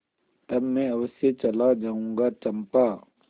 तब मैं अवश्य चला जाऊँगा चंपा